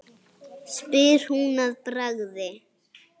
spyr hún að bragði.